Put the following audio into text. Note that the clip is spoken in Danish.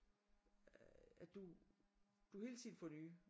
At du du hele tiden får nye